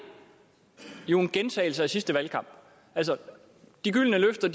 jo en gentagelse af sidste valgkamp de gyldne løfter